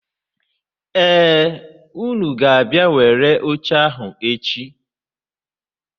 Ee, unu ga-abịa were oche ahụ echi.